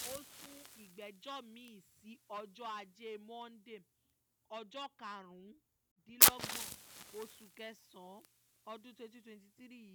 ó sun ìgbẹ́jọ́ mi-ín sí ọjọ́ ajé monde ọjọ́ karùndínlọ́gbọ̀n oṣù kẹsàn-án ọdún twenty twenty three yìí